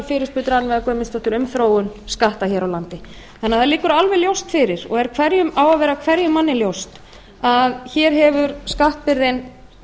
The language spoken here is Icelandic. við fyrirspurn rannveigar guðmundsdóttur um þróun skatta hér á landi það liggur því alveg ljóst fyrir og á að vera hverjum manni ljóst að hér hefur skattbyrðin